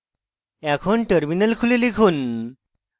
এখন terminal খুলে লিখুন